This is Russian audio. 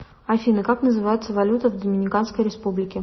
афина как называется валюта в доминиканской республике